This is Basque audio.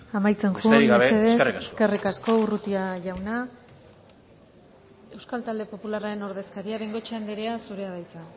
amaitzen joan mesedez besterik gabe eskerrik asko eskerrik asko urrutia jauna euskal talde popularraren ordezkaria bengoechea andrea zurea da hitza